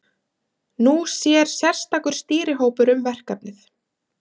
Nú sér sérstakur stýrihópur um verkefnið.